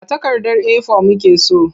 A takardar A4 muke so.